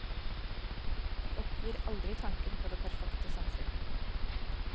De oppgir aldri tanken på det perfekte samfunn.